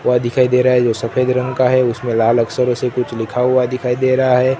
वह दिखाई दे रहा है जो सफेद रंग का है उसमें लाल अक्षरों से कुछ लिखा हुआ दिखाई दे रहा है।